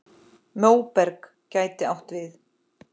Móberg gæti átt við